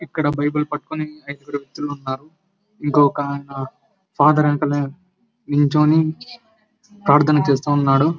ఇక్కడ బైబిల్ పట్టుకొని ఐదుగురు వ్యక్తులు ఉన్నారు ఇంకో ఆయన ఫాదర్ వెనుకాల నిల్చొని ప్రార్థన చేస్తూ ఉన్నాడు.